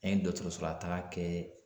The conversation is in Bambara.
An ye dɔkɔtɔrɔsola taga kɛ